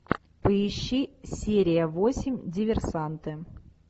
поищи серия восемь диверсанты